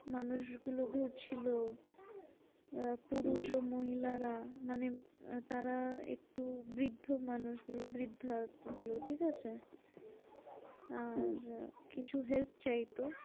মানুষগুলো ঘুরছিলো আহ হম পুরুষ ও মহিলারা মানে তারা একটু বৃদ্ধ মানুষগুলো বৃদ্ধা যেগুলো ঠিকাছে? আহ হম কিছু help চাইতো